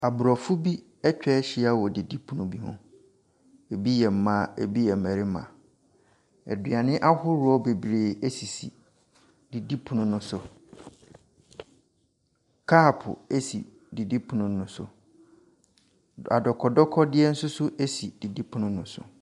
Aborɔfo bi atwa ahyia wɔ didipono bi ho. Ebi yɛ mmaa, ɛbi yɛ mmarima. Aduane ahodoɔ bebree sisi didipono no so. Kɔɔpo si didipono no so. Adɔkɔdɔkɔdeɛ nso si didipono no so.